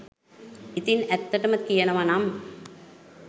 ඉතින් ඇත්තටම කියනවනම්